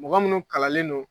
Mɔgɔ munnu kalanlen don